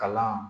Kalan